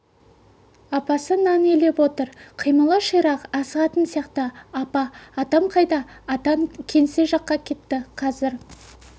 апасы нан илеп отыр қимылы ширақ асығатын сияқты апа атам қайда атаң кеңсе жаққа кетті қазір